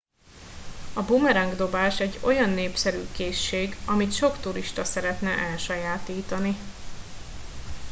a bumeráng dobás egy olyan népszerű készség amit sok turista szeretne elsajátítani